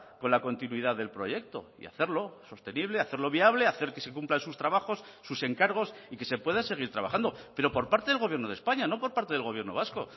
con la continuidad del proyecto y hacerlo sostenible hacerlo viable hacer que se cumplan sus trabajos sus encargos y que se pueda seguir trabajando pero por parte del gobierno de españa no por parte del gobierno vasco